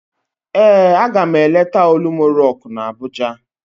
Ee, aga m eleta Olumọ rọk na Abụja